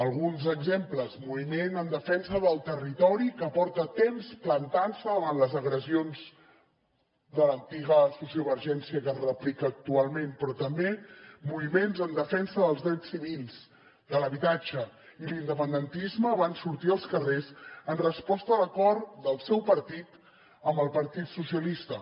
alguns exemples moviment en defensa del territori que porta temps plantantse davant les agressions de l’antiga sociovergència que es replica actualment però també moviments en defensa dels drets civils de l’habitatge i l’independentisme van sortir als carrers en resposta a l’acord del seu partit amb el partit socialista